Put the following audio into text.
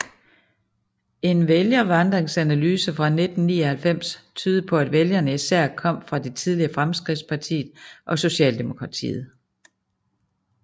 En vælgervandringsanalyse fra 1999 tydede på at vælgerne især kom fra det tidligere Fremskridtspartiet og Socialdemokratiet